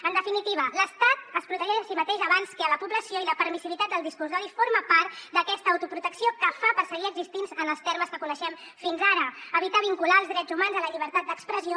en definitiva l’estat es protegeix a si mateix abans que a la població i la permissivitat del discurs d’odi forma part d’aquesta autoprotecció que fa per seguir existint en els termes que coneixem fins ara evitar vincular els drets humans a la llibertat d’expressió